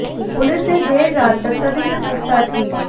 police ने देर रात तक सभी से पूछताछ की